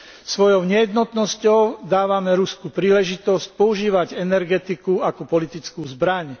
Svojou nejednotnosťou dávame Rusku príležitosť používať energetiku ako politickú zbraň.